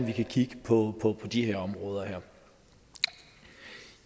vi kan kigge på de her områder